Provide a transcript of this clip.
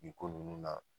Nin ko nunnu na